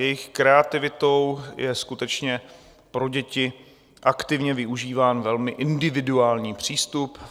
Jejich kreativitou je skutečně pro děti aktivně využíván velmi individuální přístup.